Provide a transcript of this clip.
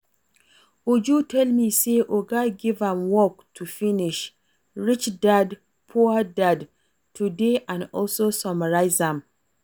Uju tell me say oga give am work to finish "Rich dad, poor dad" today and also summarize am